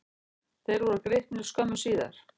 Þeir voru gripnir skömmu síðar.